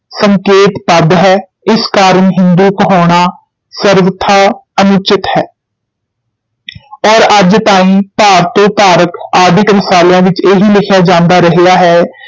ਸੰਕੇਤ ਪਦ ਹੈ, ਇਸ ਕਾਰਨ ਹਿੰਦੂ ਕਹਾਉਣਾ ਸਰਵਥਾ ਅਨੁਚਿਤ ਹੈ ਔਰ ਅੱਜ ਤਾਈਂ ਭਾਰਤ ਧਾਰਕ ਆਦਿਕ ਰਸਾਲਿਆਂ ਵਿੱਚ ਇਹੀ ਲਿਖਿਆ ਜਾਂਦਾ ਰਹਿਆ ਹੈ